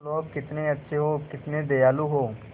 तुम लोग कितने अच्छे हो कितने दयालु हो